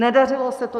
Nedařilo se to.